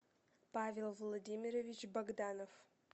павел владимирович богданов